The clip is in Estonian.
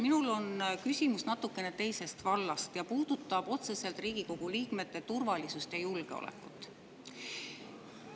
Minul on küsimus natuke teisest vallast ja see puudutab otseselt Riigikogu liikmete turvalisust ja julgeolekut.